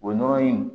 O nɔnɔ in